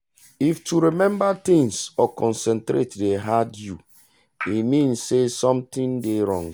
if crowd or busy place dey disturb you mentally na anxiety sign.